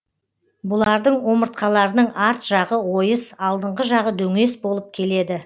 бұлардың омыртқаларының арт жағы ойыс алдыңғы жағы дөңес болып келеді